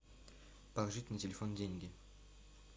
положить на телефон деньги